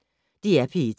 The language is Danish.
DR P1